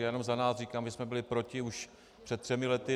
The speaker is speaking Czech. Já jenom za nás říkám, že jsme byli proti už před třemi lety.